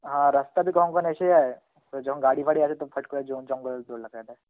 হা রাস্তায় Hindi কখনো কখনো এসে যায়, যখন গাড়ি ফাঁড়ি আসে তখন ফট করে জো~ জঙ্গলে